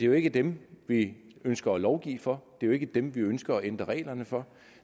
jo ikke dem vi ønsker at lovgive for det er jo ikke dem vi ønsker at ændre reglerne for